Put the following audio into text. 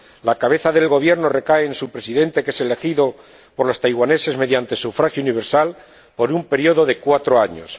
La cabeza del Gobierno recae en su Presidente, que es elegido por los taiwaneses mediante sufragio universal por un período de cuatro años.